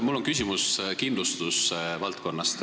Mul on küsimus kindlustuse valdkonnast.